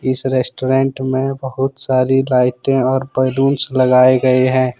इस रेस्टोरेंट में बहुत सारी लाइटें और बैलूंस लगाए गए हैं।